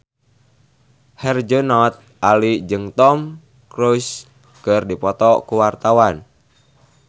Herjunot Ali jeung Tom Cruise keur dipoto ku wartawan